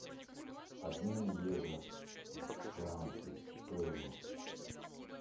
обмен евро в франки стоимость